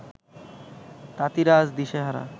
তাঁতিরা আজ দিশাহারা